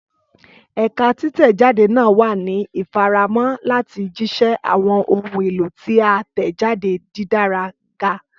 Ẹka titẹjade naa wa ni ifaramọ lati jiṣẹ awọn ohun elo ti a tẹjade didara ga.